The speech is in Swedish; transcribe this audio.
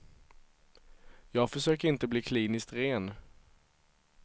Jag försöker inte bli kliniskt ren.